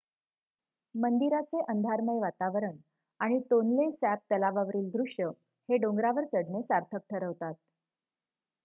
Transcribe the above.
मंदिराचे अंधारमय वातावरण आणि टोनले सॅप तलावावरील दृश्य हे डोंगरावर चढणे सार्थक ठरवतात